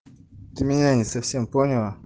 ты меня не совсем поняла